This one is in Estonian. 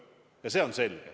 Ja see on selge.